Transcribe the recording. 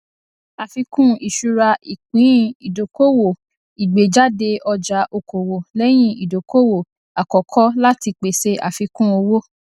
àfikún ìṣura ìpínìdókòwò ìgbéjáde ọjà okòwò lẹyìn ìdókòwò àkọkọ láti pèsè àfikún owó